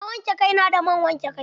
Na wanke kai na da man wanke kai.